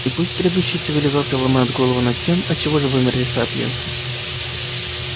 и пусть грядущие цивилизации ломают головы над тем отчего же вымерли сапиенсы